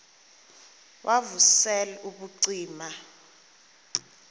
wav usel ubucima